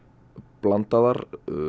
blandaðar